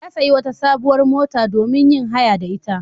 Ya sayi wata sabuwar mota domin yin haya da ita.